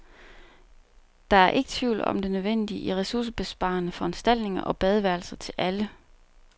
Der er ikke tvivl om det nødvendige i ressourcebesparende foranstaltninger og badeværelser til alle.